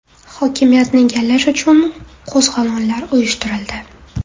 Hokimiyatni egallash uchun qo‘zg‘olonlar uyushtirildi.